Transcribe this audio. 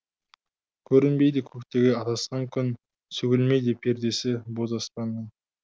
көрінбейді көктегі адасқан күн сөгілмейді пердесі боз аспанның